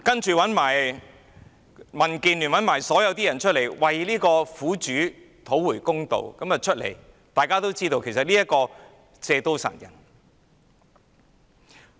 其後，民建聯及所有人站出來要為苦主討回公道，但大家都知道，其實這是要借刀殺人。